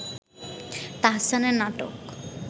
তাহসানের নাটক